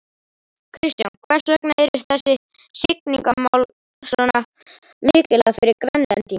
Kristján, hvers vegna eru þessi siglingamál svona mikilvæg fyrir Grænlendinga?